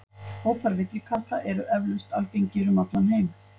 Hópar villikatta eru eflaust algengir um allan heim.